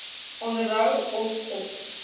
onderhou of op